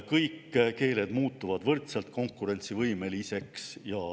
Kõik keeled muutuvad võrdselt konkurentsivõimeliseks.